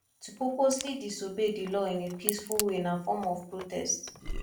to purposely disobey di law in a peaceful way na form of protest